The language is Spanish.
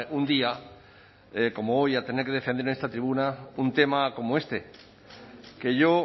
un día como hoy a tener que defender en esta tribuna un tema como este que yo